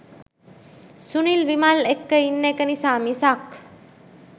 සුනිල් විමල් එක්ක ඉන්න එක නිසා මිසක්